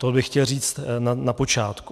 To bych chtěl říct na počátku.